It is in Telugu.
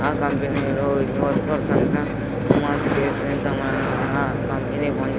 ఆ కంపెనీ లో వర్కర్స్ అంతా వుమెన్ స్పేస్ మీద కంపెనీ --